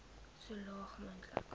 so laag moontlik